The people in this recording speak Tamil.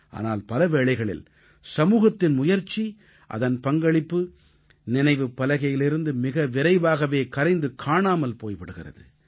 ஆனால் பலவேளைகளில் சமூகத்தின் முயற்சி அதன் பங்களிப்பு நினைவுப் பலகையிலிருந்து மிக விரைவாகவே கரைந்து காணாமல் போய் விடுகிறது